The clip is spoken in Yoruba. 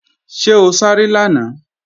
Ṣé o sáré lánàá?